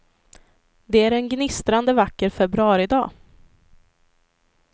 Det är en gnistrande vacker februaridag.